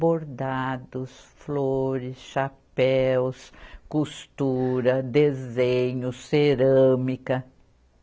Bordados, flores, chapéus, costura, desenho, cerâmica.